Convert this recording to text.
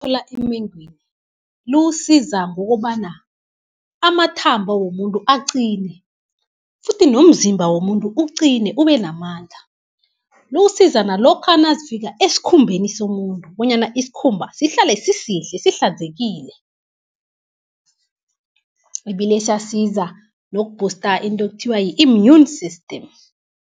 emengwini liwusiza ngokobana amathambo womuntu aqine, futhi nomzimba womuntu uqine, ubenamandla. Liwusiza nalokha nazifiika eskhumbeni somuntu, bonyana iskhumba sihlale sisihle sihlanzekile. Ibile isasiza noku-booster into ekuthiwa i-immune system.